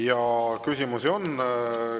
Ja küsimusi on.